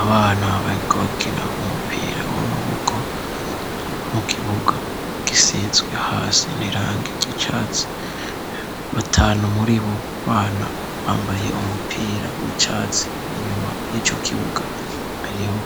Abana bariko bakina umupira w'amaboko mu kiburwa gisizwe hasi nirangi igicatsi batanu muri bo bana bambaye umupira w'icatsi inyuma y'iyo kibuga ariho